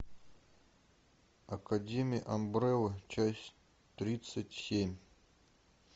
академия амбрелла часть тридцать семь